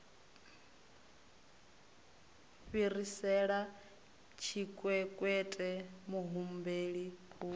u fhirisela tshikwekwete muhumbeli u